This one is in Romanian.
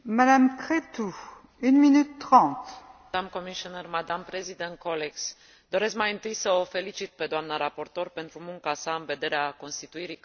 Doresc mai întâi să o felicit pe dna raportor pentru munca sa în vederea constituirii cadrului juridic care va sta la baza implementării sistemului de identificare biometrică.